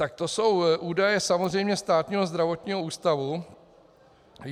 Tak to jsou údaje samozřejmě Státního zdravotního ústavu.